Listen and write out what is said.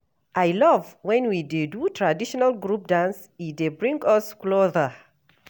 I love when we dey do traditional group dance, e dey bring us closer.